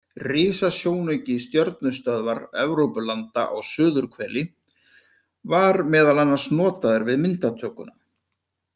Risasjónauki Stjörnustöðvar Evrópulanda á suðurhveli, var meðal annars notaður við myndatökuna.